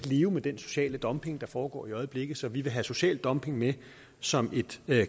leve med den sociale dumping der foregår i øjeblikket så vi vil have social dumping med som et